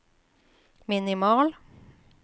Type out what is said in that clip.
minimal